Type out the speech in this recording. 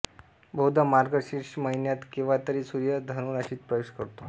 बहुधा मार्गशीर्ष महिन्यात केव्हातरी सूर्य धनुराशीत प्रवेश करतो